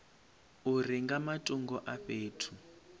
uri nga matungo a fhethu